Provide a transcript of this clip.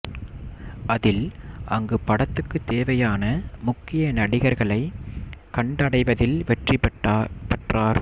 அதில் அங்கு படத்துக்குத் தேவையான முக்கிய நடிகர்களை கண்டடைவதில் வெற்றி பெற்றார்